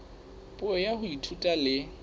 puo ya ho ithuta le